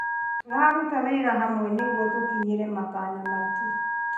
Tũraruta wĩra hamwe nĩguo gũkinyĩra matanya maitũ.